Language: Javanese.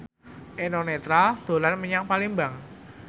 Eno Netral dolan menyang Palembang